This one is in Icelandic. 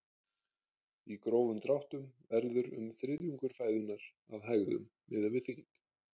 Í grófum dráttum verður um þriðjungur fæðunnar að hægðum miðað við þyngd.